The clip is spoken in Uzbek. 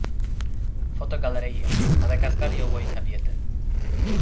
Fotogalereya: Madagaskar yovvoyi tabiati.